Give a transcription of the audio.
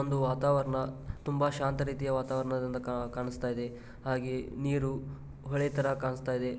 ಒಂದು ವಾತಾವರಣ ತುಂಬಾ ಶಾಂತ ರೀತಿಯ ವಾತಾವರಣದಂತೆ ಕಾಣಿಸ್ತಾ ಇದೆ ಹಾಗೆ ನೀರು ಹೊಳೆ ತರ ಕಾಣಿಸ್ತಾ ಇದೆ.